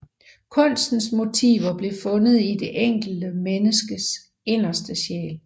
Kunstens motiver blev fundet i det enkelte menneskes inderste sjæl